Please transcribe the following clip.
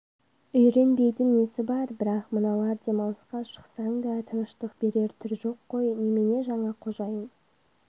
үйренбейтін несі бар бірақ мыналар демалысқа шықсаң да тыныштық берер түр жоқ қой немене жаңа қожайын